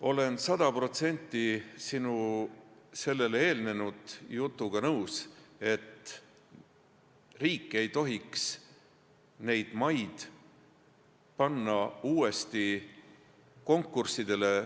Olen sada protsenti sinu sellele eelnenud jutuga nõus, et riik ei tohiks neid maid panna uuesti konkurssidele.